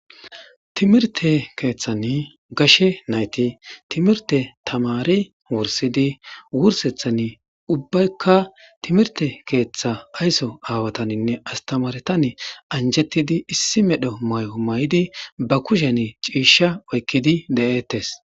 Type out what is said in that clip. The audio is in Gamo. timirte keeththan gashe nayti timirte tamari wursidi wursethan ubbaykka timirte keeththa aysso aawataninne astamaretan anjetidi issi medho may7o may7di ba kushen ciisha oykkidi de7ettes